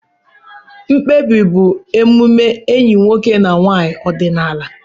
Mkpebi bụ omume enyi nwoke na nwanyị ọdịnala.